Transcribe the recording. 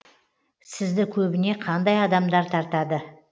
сізді көбіне қандай адамдар тартады